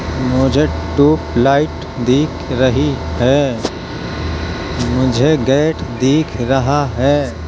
मुझे टूपलाइट दिख रही है। मुझे गेट दिख रहा है।